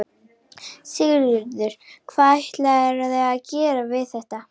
Sigurður: Hvað ætlarðu að gera við þetta?